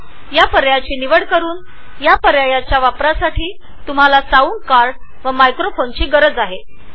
005251 000555 यासाठी तुमच्याजवळ मायक्रोफोनचे साउंडकार्ड असणे आवश्यक आहे